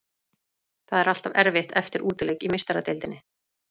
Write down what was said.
Það er alltaf erfitt eftir útileik í Meistaradeildinni.